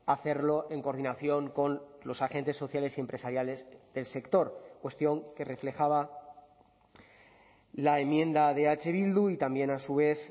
a hacerlo en coordinación con los agentes sociales y empresariales del sector cuestión que reflejaba la enmienda de eh bildu y también a su vez